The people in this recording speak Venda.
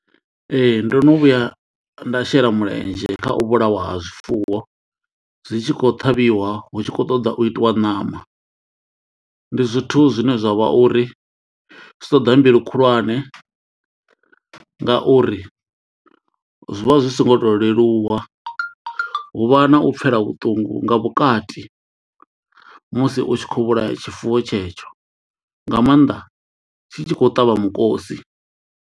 Ee ndo no vhuya nda shela mulenzhe kha u vhulawa ha zwifuwo zwi tshi khou ṱhavhiwa hu tshi khou ṱoḓa u itiwa ṋama. Ndi zwithu zwine zwavha uri zwi ṱoḓa mbilu khulwane ngauri zwi vha zwi so ngo to leluwa huvha na u pfela vhuṱungu nga vhukati musi u tshi kho vhulaya tshifuwo tshetsho nga mannḓa tshi tshi khou ṱavha mukosi.